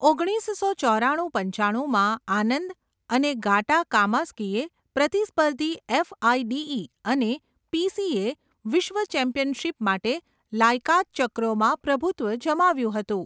ઓગણીસસો ચોરાણું પંચાણુંમાં, આનંદ અને ગાટા કામસ્કીએ પ્રતિસ્પર્ધી એફઆઇડીઈ અને પીસીએ વિશ્વ ચેમ્પિયનશિપ માટે લાયકાત ચક્રોમાં પ્રભુત્વ જમાવ્યું હતું.